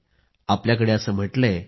आपल्याकडे असे म्हटले आहे की